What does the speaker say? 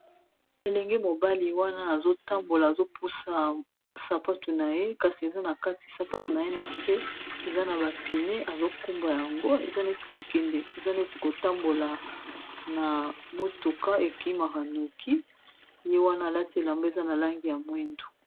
Elenge mobali wana azotambola azopusa sapatu na ye kasi eza na kati sapatu na ye na se eza na bapine azokumba yango eza neti kokende eza neti kotambola na motuka ekemakanuki ye wana alati elambo eza na langi ya mwindu.